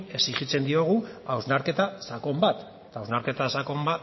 exigitzen diogu hausnarketa sakon bat hausnarketa sakon